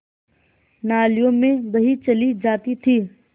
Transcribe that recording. नालियों में बही चली जाती थी